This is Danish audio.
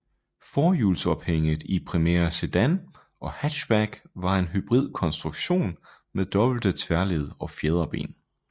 Forhjulsophænget i Primera sedan og hatchback var en hybrid konstruktion med dobbelte tværled og fjederben